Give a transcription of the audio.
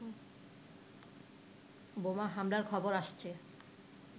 বোমা হামলার খবর আসছে